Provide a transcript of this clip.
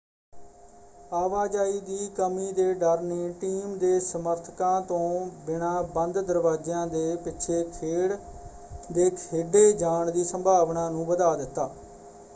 ਆਵਾਜਾਈ ਦੀ ਕਮੀ ਦੇ ਡਰ ਨੇ ਟੀਮ ਦੇ ਸਮਰਥਕਾਂ ਤੋਂ ਬਿਨਾਂ ਬੰਦ ਦਰਵਾਜਿਆਂ ਦੇ ਪਿੱਛੇ ਖੇਡ ਦੇ ਖੇਡੇ ਜਾਣ ਦੀ ਸੰਭਾਵਨਾ ਨੂੰ ਵਧਾ ਦਿੱਤਾ।